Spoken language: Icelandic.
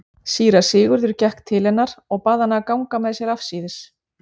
Síra Sigurður gekk til hennar og bað hana ganga með sér afsíðis.